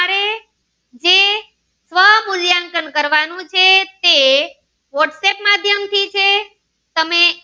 મૂલ્યાંકન કરવાનું છે તે whatsapp માધ્યમ થી છે તમે.